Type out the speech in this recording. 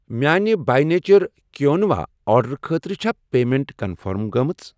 میانہِِ By Nature کُیِنووا آرڈرٕ خٲطرٕ چھا پیمیٚنٹ کنفٔرم گٔمٕژ؟